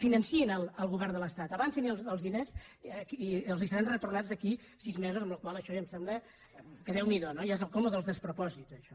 financin el govern de l’estat avancin els diners i els seran retornats d’aquí sis mesos amb la qual cosa això ja em sembla que déu n’hi do no ja és el colmo dels despropòsits això